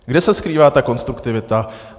Kde se skrývá ta konstruktivita?